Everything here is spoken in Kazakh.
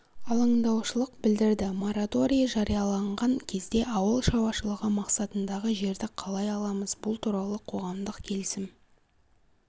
алаңдаушылық білдірді мораторий жарияланған кезде ауыл шаруашылығы мақсатындағы жерді қалай аламыз бұл туралы қоғамдық келісім